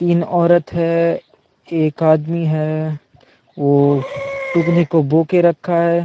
तीन औरत है एक आदमी है वो टुकनी को बोह के रखा है।